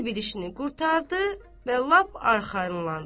Hər bir işini qurtardı və lap arxayınlandı.